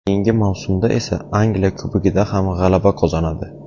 Keyingi mavsumda esa Angliya Kubogida ham g‘alaba qozonadi.